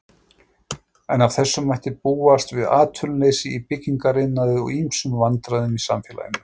En af þessu mætti búast við atvinnuleysi í byggingariðnaði og ýmsum vandræðum í samfélaginu.